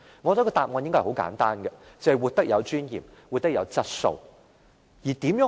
我想答案應該很簡單，便是活得有尊嚴、活得有質素。